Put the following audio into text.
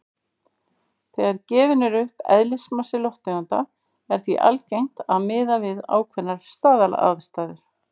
Þegar gefinn er upp eðlismassi lofttegunda er því algengt að miða við ákveðnar staðalaðstæður.